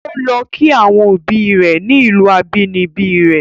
O lọ kí àwọn obi rẹ̀ ni ìlù abínibí rẹ̀.